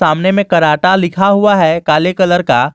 सामने में कराटा लिखा हुआ है काले कलर का।